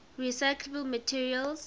recyclable materials